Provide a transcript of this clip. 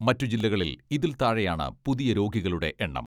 മറ്റുജില്ലകളിൽ ഇതിൽ താഴെയാണ് പുതിയ രോഗികളുടെ എണ്ണം.